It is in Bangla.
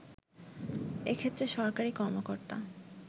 এক্ষেত্রে সরকারী কর্মকর্তা